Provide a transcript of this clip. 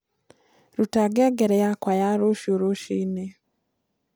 rũta ngengere yakwa ya rũciũ rũcĩĩnĩ